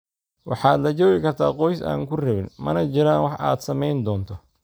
Waxaad la joogi kartaa qoys aan ku rabin, mana jiraan wax aad sameyn doonto